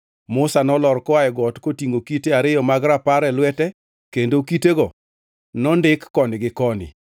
Musa nolor koa e got kotingʼo kite ariyo mag Rapar e lwete kendo kitego nondik koni gi koni.